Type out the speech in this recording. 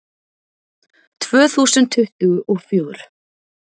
Tvö þúsund tuttugu og fjögur